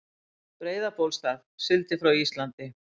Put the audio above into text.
Breiðabólsstað, sigldi frá Íslandi.